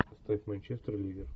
поставь манчестер ливер